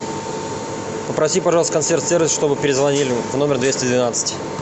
попроси пожалуйста консьерж сервис чтобы перезвонили в номер двести двенадцать